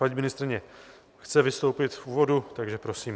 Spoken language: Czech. Paní ministryně chce vystoupit v úvodu, takže prosím.